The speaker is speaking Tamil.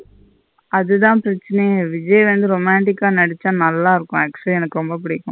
அதுத பெரச்சினையே விஜய் வந்து romantic ஆ நல்ல இருக்கும் actually எனக்கு ரெம்ப புடிக்கும்.